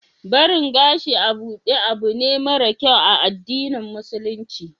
barin gashi a buɗe abune mara kyau a addinin musulunci